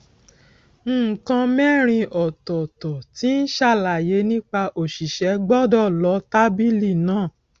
nǹkan mẹrin ọtọọtọ tí ń ṣàlàyé nípa òṣìṣẹ gbọdọ lọ tábìlì náà